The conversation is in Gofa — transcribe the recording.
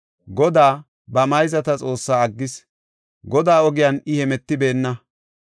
Godaa, ba mayzata Xoossaa aggis; Godaa ogiyan I hemetibeenna.